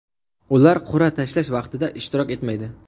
Ular qur’a tashlash vaqtida ishtirok etmaydi.